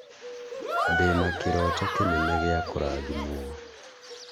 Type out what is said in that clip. ndĩna kĩroto kĩnene gĩa kũrathimwo